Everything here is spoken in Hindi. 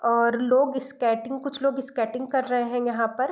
और लोग स्केटिंग कुछ लोग स्केटिंग कर रहें हैं यहाँ पर।